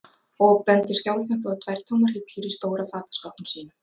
og bendir skjálfhent á tvær tómar hillur í stóra fataskápnum sínum.